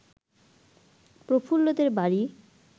প্রফুল্লদের বাড়ি